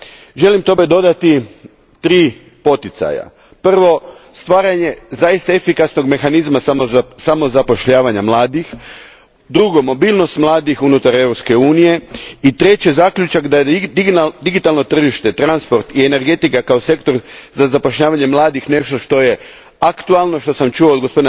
Tome želim dodati tri poticaja Prvo, stvaranje zaista efikasnog mehanizma samozapošljavanja mladih, drugo, mobilnost mladih unutar Europske unije, i treće, zaključak da su digitalno tržište i energetika kao sektor za zapošljavanje mladih nešto što je aktualno, što sam čuo od g.